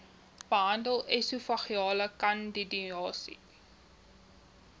behandel esofageale kandidiase